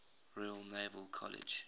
royal naval college